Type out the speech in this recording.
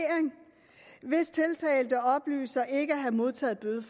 hvis tiltalte oplyser ikke at have modtaget